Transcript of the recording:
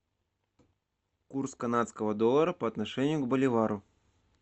курс канадского доллара по отношению к боливару